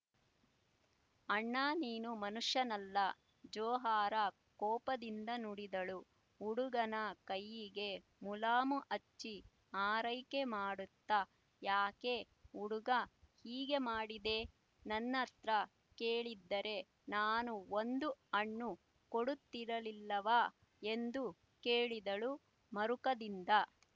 ಅಣ್ಣಾ ನೀನು ಮನುಷ್ಯನಲ್ಲ ಜೊಹರಾ ಕೋಪದಿಂದ ನುಡಿದಳು ಹುಡುಗನ ಕೈಯಿಗೆ ಮುಲಾಮು ಹಚ್ಚಿ ಆರೈಕೆ ಮಾಡುತ್ತಾ ಯಾಕೆ ಹುಡುಗಾ ಹೀಗೆ ಮಾಡಿದೆ ನನ್ಹತ್ರ ಕೇಳಿದ್ದರೆ ನಾನು ಒಂದು ಹಣ್ಣು ಕೊಡುತ್ತಿರಲಿಲ್ಲವಾ ಎಂದು ಕೇಳಿದಳು ಮರುಕದಿಂದ